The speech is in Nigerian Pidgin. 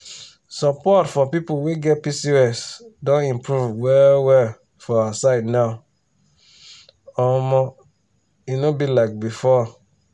support for people wey get pcos don improve well well for our side now omo e no be like before.